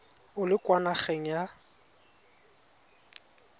o le kwa nageng ya